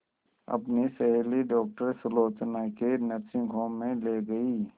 अपनी सहेली डॉक्टर सुलोचना के नर्सिंग होम में ली गई